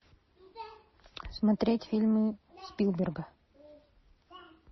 смотреть фильмы спилберга